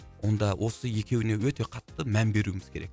онда осы екеуіне өте қатты мән беруіміз керек